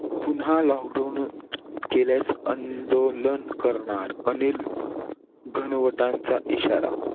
पुन्हा lockdown केल्यास आंदोलन करणार. अनिल घनवंतांचा इशारा.